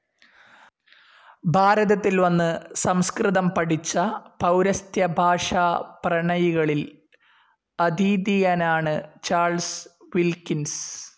ഭാരതത്തിൽ വന്നു സംസ്‌കൃതം പഠിച്ച പൗരസ്ത്യഭാഷാപ്രണയികളിൽ അദീതീയനാണ് ചാൾസ് വിൽക്കിൻസ്.